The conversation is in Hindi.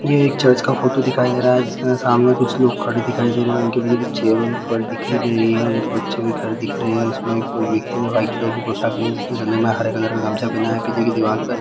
ये एक चर्च का फोटो दिखाई दे रहा है जिसके सामने कुछ लोग खड़े दिखाई दे रहे है उनके पीछे कुछ दिख रही है उनके बच्चे कि घर दिख रहे है उसमें एक कोई व्यक्ति ने व्हाइट कलर की पोशाक पहनी जिसने गले में हरे कलर का गमछा पहना है पीछे की दीवार पर --